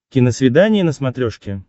киносвидание на смотрешке